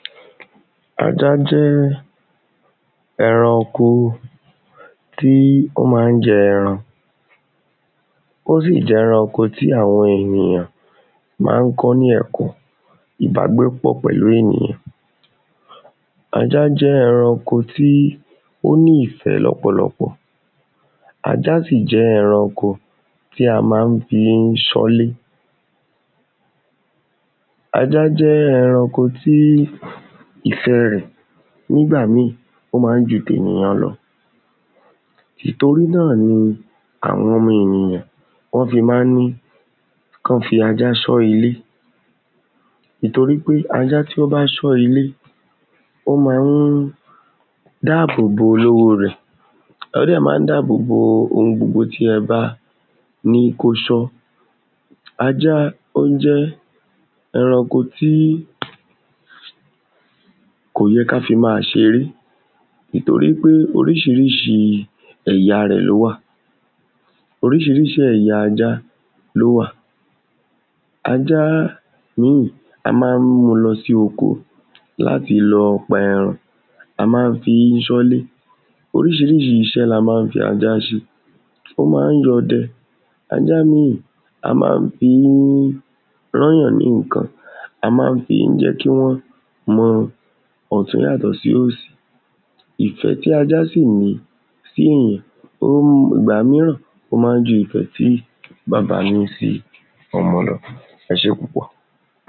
ajá jẹ́ ẹranko tí ó má ń jẹ ẹran ó sì ẹranko tí àwọn ènìyàn ma ń kọ́ ní ẹ̀kọ́ ìbágbépọ̀ pẹ̀lú ènìyàn ajá jẹ́ ẹranko tí ó ní ìfẹ́ lọ́pọ̀lọpọ̀ ajá sì jẹ́ ẹranko tí a má ń fi ń ṣọ́lé ajá jẹ́ ẹranko tí ìfẹ́ rẹ̀ nígbà míìn ó má ń ju ti èyàn lọ ìtorí náà ni àwọn ọmọ ènìyàn wọ́n fi má ń ní kán fi ajá ṣọ ile ìtorí pé ajá tí ó bá ṣọ ilé, ó máa ń dáàbò bo olówó rẹ̀ ó dẹ̀ má ń dáàbò bo ohun gbogbo tí ẹ bá ní kó ṣọ́ ajá ó ń jẹ́ ẹranko tí kò yẹ ká fi máa ṣeré ìtorí pé oríṣiríṣi ẹ̀yà rẹ̀ ló wà oríṣiríṣi ẹ̀yà ajá ló wà ajá mìín, a má ń mú un lọ sí oko láti lọ pa ẹran, a má ń fi sọ́lé oríṣiríṣi iṣẹ́ la má ń fi ajá ṣe ó máa ńya ọdẹ ajá mìín, a má ń fi ń rán ǹyàn ní nǹkan, a má ń fi jẹ́ kí wọ́n mọ ọ̀tún yàtọ̀ sósì ìfẹ́ tí ajá sì ní síìyàn ìgbá míràn ó máa ń ju ìfẹ́ tí baba ní sí ọmọ lọ, ẹ sé púpọ̀